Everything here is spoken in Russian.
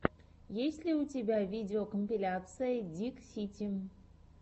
есть ли у тебя видеокомпиляция диксити